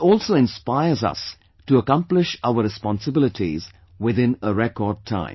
This also inspires us to accomplish our responsibilities within a record time